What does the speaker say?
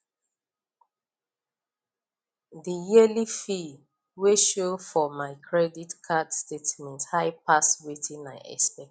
the yearly fee wey show for my credit card statement high pass wetin i expect